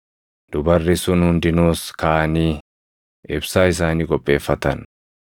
“Dubarri sun hundinuus kaʼanii ibsaa isaanii qopheeffatan.